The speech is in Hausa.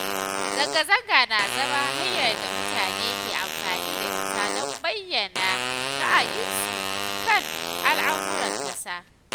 Zanga-zanga na zama hanyar da mutane ke amfani da ita don bayyana ra’ayinsu kan al’amuran ƙasa.